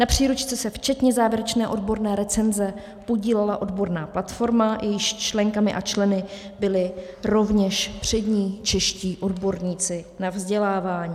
Na příručce se včetně závěrečné odborné recenze podílela odborná platforma, jejímiž členkami a členy byli rovněž přední čeští odborníci na vzdělávání.